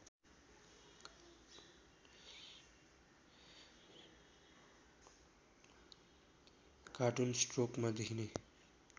cartoon स्ट्रोकमा देखिने